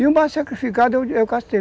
E o mais sacrificado é o